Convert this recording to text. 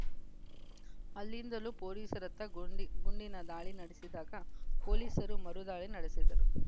ಅಲ್ಲಿಂದಲೂ ಪೊಲೀಸರತ್ತ ಗುಂಡಿ ಗುಂಡಿನ ದಾಳಿ ನಡೆಸಿದಾಗ ಪೊಲೀಸರೂ ಮರು ದಾಳಿ ನಡೆಸಿದ್ದರು